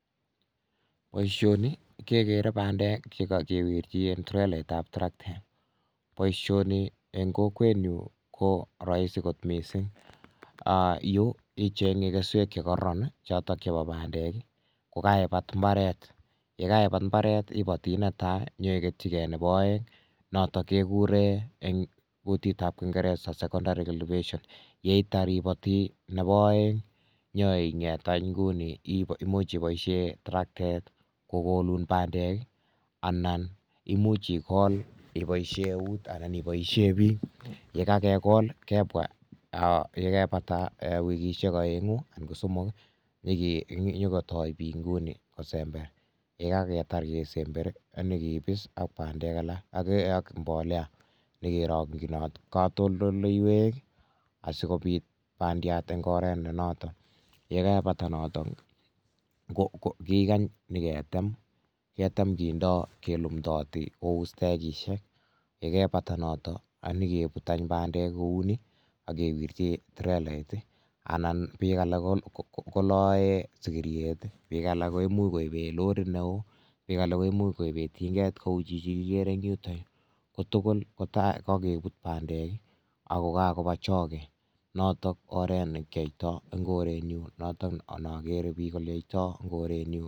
Boisioni kekere bandek che kakewirchi en trelaitab traktet, boisioni eng kokwenyu ko rahisi kot mising, um yu ichenge keswek che kororon ii, chotok chebo bandek ii ko kaibat imbaret, ye kaibat imbaret, ibati ne tai nyeiketyikei nebo aeng notok kekure eng kutitab kingereza secondary cultivations, yeitar iboti nebo aeng ii nyoinget any inguni imuch iboisie traktet kokolun bandek ii, anan imuch ikol iboisie eut anan iboisie piik, ye kakekol kebwa yekebata wikisiek aengu anan ko somok ii nyikotoi piik nguni kosember ye kaketar kesemberi nyekepis ak mbolea nyekerongchinot katoldoleiwek asikopit bandiat eng oret ne noto, ye kebata notok, kikany niketem, ketem kindoi kelumdooti kou stekishek, ye kebata noto anikebut any bandek kou ni, ak kewirchi trelait ii anan piik alak koloe sikiryet ii, piik alak koimuch koibe lorit ne oo, piik alak komuch koibe tinget kou chichi kikere eng yutoyu, ko tugul kokebut bandek ii ako kakoba choge, notok oret ne kyoitoi eng korenyu noto ne akere piik oloitoi eng korenyu.